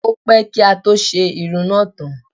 Ó pẹ́ kí á tó ṣe irun náà tán.